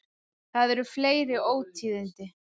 Það eru fleiri ótíðindi.